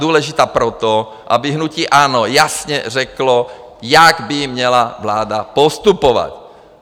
Důležitá proto, aby hnutí ANO jasně řeklo, jak by měla vláda postupovat.